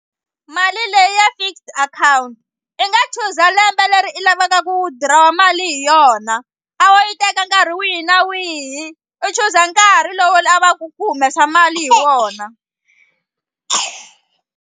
Mali leyi ya fixed akhawunti i nga chuza lembe leri i lavaka ku withdraw-a mali hi yona a wo yi teka nkarhi wihi na wihi u chuza nkarhi lowu lavaku ku humesa mali hi wona.